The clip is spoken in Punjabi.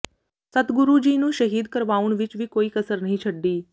ਸਤਿਗੁਰੂ ਜੀ ਨੂੰ ਸ਼ਹੀਦ ਕਰਵਾਉਣ ਵਿਚ ਵੀ ਕੋਈ ਕਸਰ ਨਹੀਂ ਛੱਡੀ